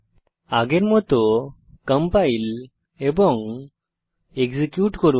আগের মত কম্পাইল এবং এক্সিকিউট করুন